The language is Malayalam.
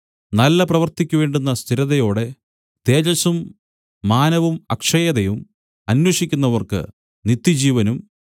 നല്ല പ്രവൃത്തിക്കു വേണ്ടുന്ന സ്ഥിരതയോടെ തേജസ്സും മാനവും അക്ഷയതയും അന്വേഷിക്കുന്നവർക്ക് നിത്യജീവനും